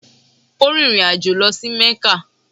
Ó rin ìrìn àjọ̀ lọ sí Mẹ́kà.